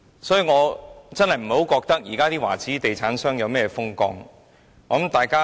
所以，我真的不認為現時華資地產商如何風光。